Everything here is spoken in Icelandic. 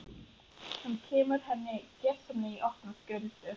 Hann kemur henni gersamlega í opna skjöldu.